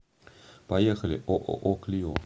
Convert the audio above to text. поехали ооо клио